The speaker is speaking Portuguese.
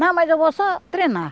Não, mas eu vou só treinar.